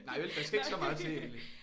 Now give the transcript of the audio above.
Nej vel der skal ikke så meget til egentlig